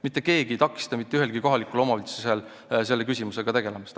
Mitte keegi ei takista mitte ühelgi kohalikul omavalitsusel selle küsimusega tegelemast.